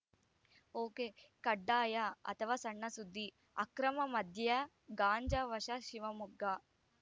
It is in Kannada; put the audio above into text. ಒಕೆಕಡ್ಡಾಯ ಅಥವ ಸಣ್‌ಸುದ್ದಿ ಅಕ್ರಮ ಮದ್ಯ ಗಾಂಜಾ ವಶ ಶಿವಮೊಗ್ಗ